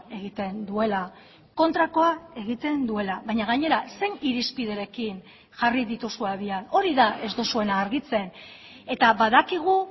egiten duela kontrakoa egiten duela baina gainera zein irizpiderekin jarri dituzu abian hori da ez duzuena argitzen eta badakigu